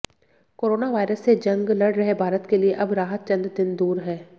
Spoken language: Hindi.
कोरोना वायरस से जंग लड़ रहे भारत के लिए अब राहत चंद दिन दूर है